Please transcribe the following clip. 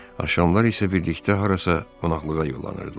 Axşamlar isə birlikdə harasa qonaqlığa yollanırdılar.